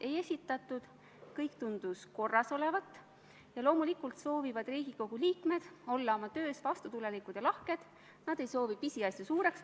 See aitab tõesti tugevdada meie liitlassuhteid olulise NATO-partneri Prantsusmaaga, sest on ju Prantsuse üksus ka Eestis olnud ja on uuel aastal taas Eestisse tulemas.